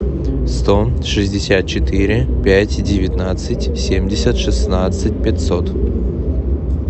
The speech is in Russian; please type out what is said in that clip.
сто шестьдесят четыре пять девятнадцать семьдесят шестнадцать пятьсот